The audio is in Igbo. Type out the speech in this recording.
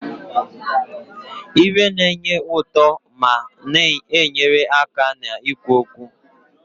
Ire na-enye ụtọ ma na-enyere aka n'ikwu okwu.